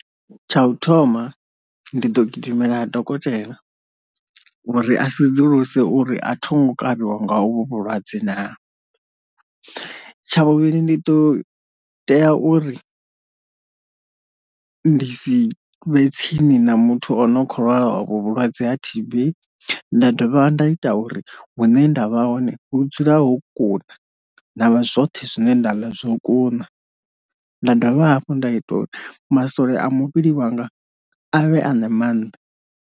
Ysha u thoma ndi ḓo gidimela dokotela uri a sedzuluse uri a tho ngo kavhiwa nga hu vhulwadze na, tsha vhuvhili ndi ḓo tea uri ndi si vhe tsini na muthu o no kho lwala ovho vhulwadze ha T_Bnda dovha nda ita uri hune nda vha hone hu dzule ho kuna, ndavha zwoṱhe zwine nda ḽa zwo kuna, nda dovha hafhu nda ita uri masole a muvhili wanga avhe a na maanḓa.